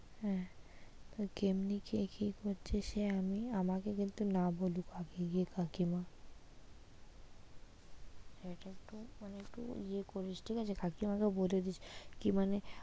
হ্যাঁ তা কেমনি কে কি করছে সে আমি, আমাকে কিন্তু না বলুক আগে গিয়ে কাকিমা সেটা একটু মানে একটু ইয়ে করিস ঠিক আছে কাকিমা কে বলে দিস কি মানে,